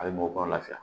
A bɛ mɔgɔw kɔnɔ lafiya